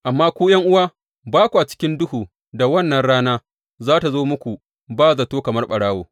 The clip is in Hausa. Amma ku, ’yan’uwa, ba kwa cikin duhu da wannan rana za tă zo muku ba zato kamar ɓarawo.